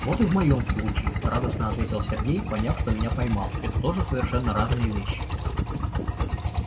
вот и в моем случае радостно ответил сергей поняв что меня поймал это тоже совершенно разные вещи